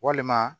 Walima